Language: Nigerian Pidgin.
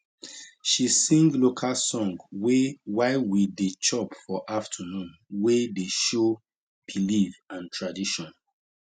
she sing local song wey while we dey chop for afternoon way dey show belief and tradition